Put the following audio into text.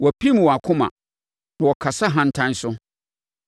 Wɔpirim wɔn akoma, na wɔkasa ahantan so.